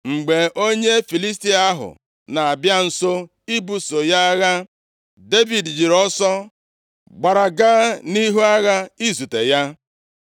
Mgbe onye Filistia ahụ na-abịa nso ibuso ya agha, Devid jiri ọsọ gbara gaa nʼihu agha izute ya.